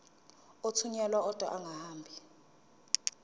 athunyelwa odwa angahambi